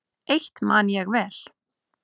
Eitt man ég vel.